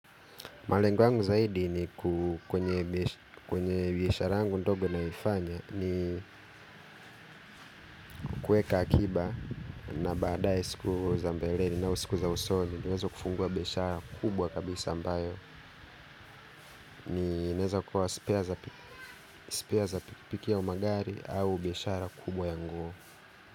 Malengo yangu zaidi ni ku kwenye biashara yangu ndogo naifanya ni kueka akiba na badae siku za mbeleni au siku za usoni niwezo kufungua biashara kubwa kabisa ambayo niwezo kukua spare za pikipiki au magari au biashara kubwa ya nguo.